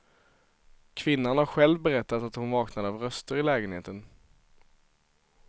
Kvinnan har själv berättat att hon vaknade av röster i lägenheten.